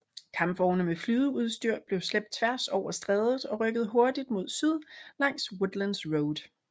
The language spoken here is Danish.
Kampvogne med flydeudstyr blev slæbt tværs over strædet og rykkede hurtigt mod syd langs Woodlands Road